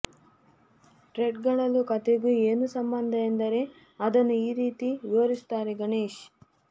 ಟೈಟಲ್ಗೂ ಕಥೆಗೂ ಏನು ಸಂಬಂಧ ಎಂದರೆ ಅದನ್ನು ಈ ರೀತಿ ವಿವರಿಸುತ್ತಾರೆ ಗಣೇಶ್